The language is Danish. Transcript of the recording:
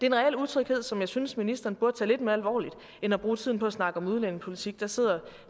en reel utryghed som jeg synes ministeren burde tage lidt mere alvorligt end at bruge tiden på at snakke om udlændingepolitik der sidder